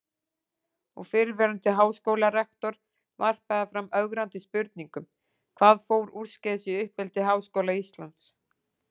Og fyrrverandi háskólarektor varpaði fram ögrandi spurningum: Hvað fór úrskeiðis í uppeldi Háskóla Íslands?